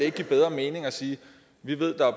ikke give bedre mening at sige vi ved at